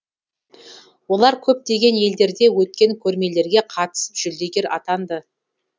олар көптеген елдерде өткен көрмелерге қатысып жүлдегер атанды